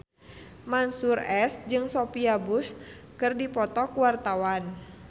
Mansyur S jeung Sophia Bush keur dipoto ku wartawan